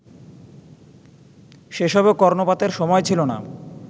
সেসবে কর্ণপাতের সময় ছিল না